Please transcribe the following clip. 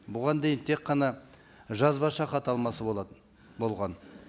бұған дейін тек қана жазбаша хат алмасу болатын болған